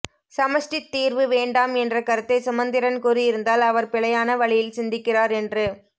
சமஷ்டித் தீர்வு வேண்டாம் என்ற கருத்தை சுமந்திரன் கூறியிருந்தால் அவர் பிழையான வழியில் சிந்திக்கிறார் என்று